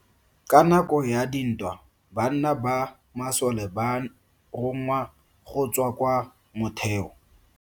Ka nako ya dintwa banna ba masole ba rongwa go tswa kwa moteo.